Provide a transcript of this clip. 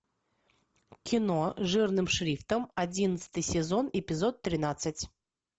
кино жирным шрифтом одиннадцатый сезон эпизод тринадцать